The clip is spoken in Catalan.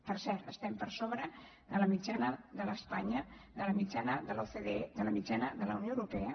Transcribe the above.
per cert estem per sobre de la mitjana d’espanya de la mitjana de l’ocde de la mitjana de la unió europea